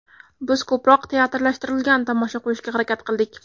Biz ko‘proq teatrlashtirilgan tomosha qo‘yishga harakat qildik.